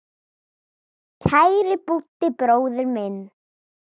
Kæri Búddi bróðir minn.